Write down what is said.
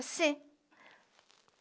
Assim.